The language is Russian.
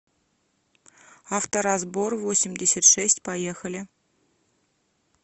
авторазбор восемьдесят шесть поехали